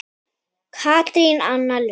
Katrín Anna Lund.